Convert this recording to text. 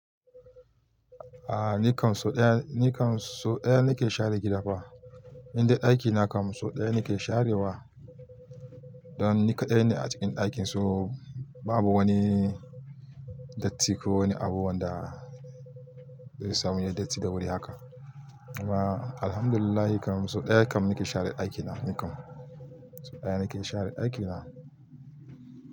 A ni kam so ɗaya, ni kam so ɗaya ni ke share gida fa. Indai aiki na kam so ɗaya ni ke share wa. Dan ni kaɗai ne a cikin ɗakin so babu wani datti ko wani abu wanda sai samu yayi datti da wuri haka kuma alhamdulilahi kam sai ɗaya kam nike share ɗakina ni kam so ɗaya ni ke share aiki na.